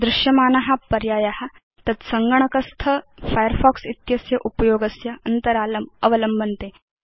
दृश्यमाना पर्याया तत् सङ्गणकस्थ फायरफॉक्स इत्यस्य उपयोगस्य अन्तरालम् अवलम्बन्ते